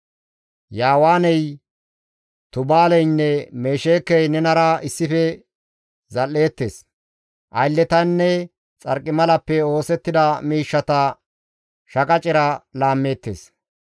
«Yaawaaney, Tubaaleynne Mesheekey nenara issife zal7eettes; aylletanne xarqimalappe oosettida miishshata shaqacera laammeettes.